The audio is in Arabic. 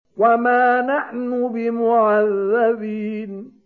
وَمَا نَحْنُ بِمُعَذَّبِينَ